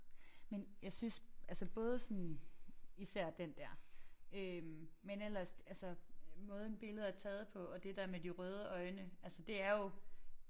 Men jeg synes altså både sådan især den der øh men ellers altså måden billedet er taget på og det der med de røde øjne altså det er jo